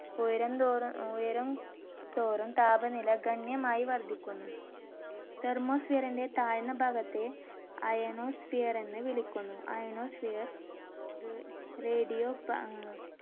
ഉയരം തോറും ഏർ ഉയരും തോറും താപനില ഗണ്യമായി വർദ്ധിക്കുന്നു. thermosphere ന്റെ താഴ്ന്ന ഭാഗത്തെ ionosphere എന്നു വിളിക്കുന്നു. ionosphere, ra~ radio അഹ്